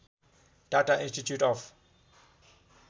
Tata institute of